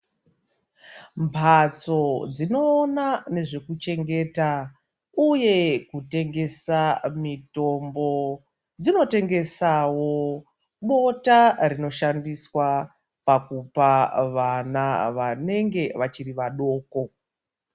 Mbatso dzinoona nezvekuchengeta uye kutengesa mitombo dzinotengeswawo bota rinoshandiswa pakupa vana vanenge vachiri vadoko.